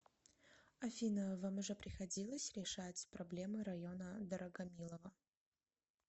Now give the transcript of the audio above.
афина вам уже приходилось решать проблемы района дорогомилово